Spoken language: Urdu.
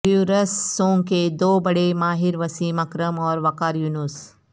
ریورس سونگ کے دو بڑے ماہر وسیم اکرم اور وقار یونس